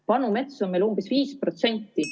Vanu metsi on meil umbes 5%.